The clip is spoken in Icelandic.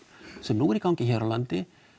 sem nú er í gangi hér á landi